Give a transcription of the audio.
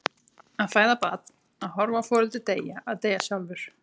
Að fæða barn, að horfa á foreldri deyja, að deyja sjálfur.